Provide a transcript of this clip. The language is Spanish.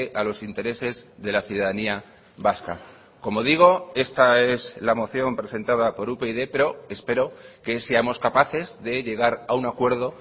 a los intereses de la ciudadanía vasca como digo esta es la moción presentada por upyd pero espero que seamos capaces de llegar a un acuerdo